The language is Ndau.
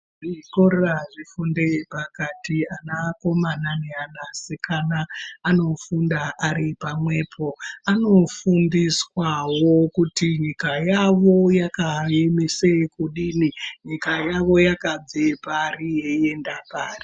Zvikora zve fundo yepakati ana akomana ne ana asikana anofunda ari pamwepo anofundiswawo kuti nyika yavo yakayemese kudini nyika yawo yakabve pari yei enda pari.